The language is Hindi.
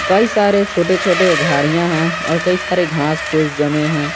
कई सारे छोटे छोटे झाड़ियां हैं और कई सारे घास फूस जमे हैं।